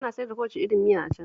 Ana siyar da kowace irin miya a can